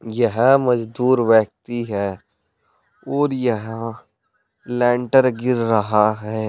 यह मजदूर व्यक्ति है और यहां लेंटर गिर रहा है।